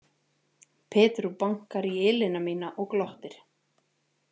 Pedro bankar í ilina mína og glottir.